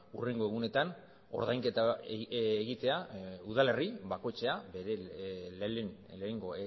hurrengo egunetan ordainketa egitea udalerri bakoitzak bere lehenengo